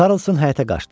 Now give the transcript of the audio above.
Karlson həyətə qaçdı.